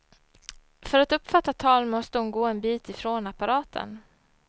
För att uppfatta tal måste hon gå en bit ifrån apparaten.